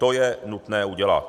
To je nutné udělat.